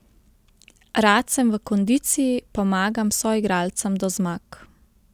Rad sem v kondiciji, pomagam soigralcem do zmag.